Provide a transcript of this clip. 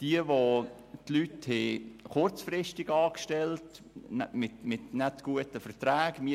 Es gab Betriebe, die ihr Personal kurzfristig und mit schlechten Verträgen anstellten;